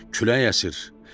Külək əsir.